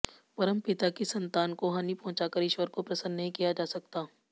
परमपिता की संतान को हानि पहुंचाकर ईश्वर को प्रसन्न नहीं किया जा सकता